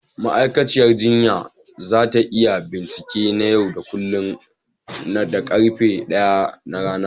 Ma'aikaciyar jinya za ta yi bincike na yau da kullun da karfe 1 na rana.